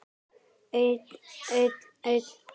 Einn, einn, einn.